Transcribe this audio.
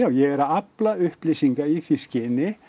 ég er að afla upplýsinga í því skyni